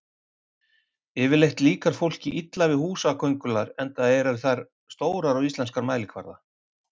Yfirleitt líkar fólki illa við húsaköngulær enda eru þær stórar á íslenskan mælikvarða.